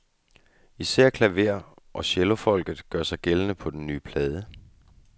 Især klaver- og cellofolket gør sig gældende på den nye plade.